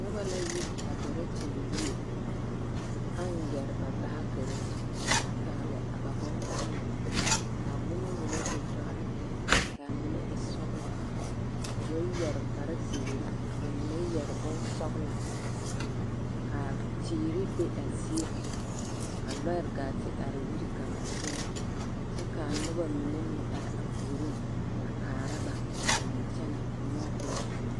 Nobɔ la yi a gɛrɛ teŋyuo a paŋ yɛre ba baagiri a pɛgli a ba bonganne kaa boma mine e dɔre kaa mine e sɔglɔ ka ba yɛre kparrezeere ka ba mine yɛre bonsɔglɔ ka teere be a zeɛ ka lɔre gaa te are yiri kaŋa seɛ kyɛ kaa nobɔ mine meŋ are a puoreŋ a kaara ba banaŋ kyɛnɛ moɔ poɔ.